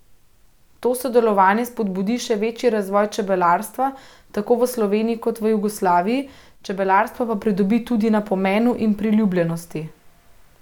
To sodelovanje spodbudi še večji razvoj čebelarstva tako v Sloveniji kot v Jugoslaviji, čebelarstvo pa pridobi tudi na pomenu in priljubljenosti.